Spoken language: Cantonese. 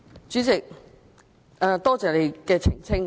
主席，多謝你的澄清。